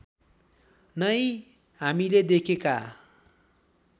नै हामीले देखेका